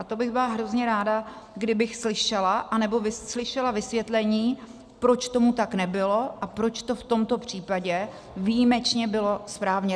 A to bych byla hrozně ráda, kdybych slyšela, anebo slyšela vysvětlení, proč tomu tak nebylo a proč to v tomto případě výjimečně bylo správně.